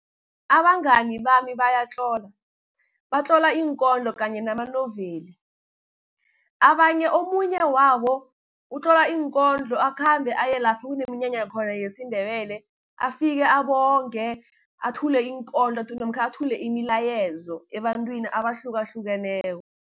Abangani bami bayatlola, batlola iinkondlo kanye namanoveli, omunye wabo utlola iinkondlo akhambe aye lapho kunomnyanya khona yesiNebele, afike abonge, athule iinkondlo namkha athule imilayezo ebantwini abahlukahlukeneko.